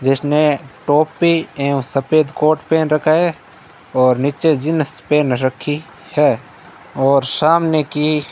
जिसने टोपी एवं सफेद कोट पहन रखा है और नीचे जींस पहन रखी है और सामने की --